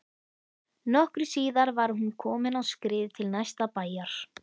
Nokkru síðar var hún komin á skrið til næsta bæjar.